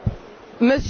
Monsieur